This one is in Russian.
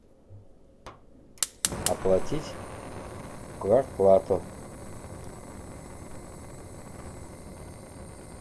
оплатить квартплату